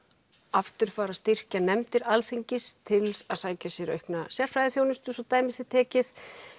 aftur fara að styrkja nefndir Alþingis til að sækja sér aukna sérfræðiþjónustu svo dæmi sé tekið